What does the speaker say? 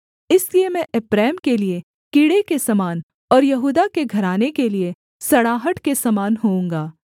इसलिए मैं एप्रैम के लिये कीड़े के समान और यहूदा के घराने के लिये सड़ाहट के समान होऊँगा